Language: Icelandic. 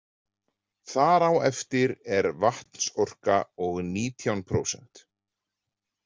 Þar á eftir er vatnsorka og nítján prósent.